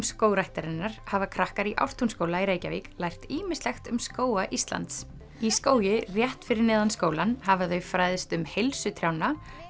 Skógræktarinnar hafa krakkar í Ártúnsskóla í Reykjavík lært ýmislegt um skóga Íslands í skógi rétt fyrir neðan skólann hafa þau fræðst um heilsu trjánna